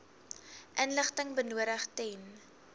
inligting benodig ten